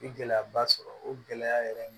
N ye gɛlɛyaba sɔrɔ o gɛlɛya yɛrɛ